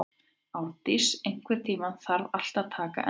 Árndís, einhvern tímann þarf allt að taka enda.